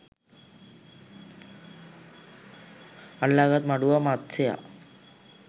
අල්ලා ගත් මඩුවා මත්ස්‍යයා